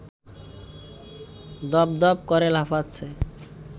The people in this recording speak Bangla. দপদপ করে লাফাচ্ছে